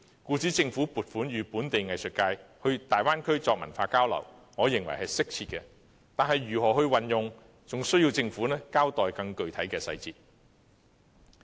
故此，政府撥款予本地藝術界到大灣區作文化交流，我認為是適切的，但是，相關撥款如何運用，仍待政府交代更具體的細節。